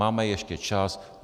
Máme ještě čas.